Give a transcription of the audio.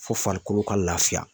Fo farikolo ka lafiya.